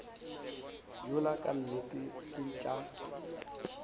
yola ka nnete ke tša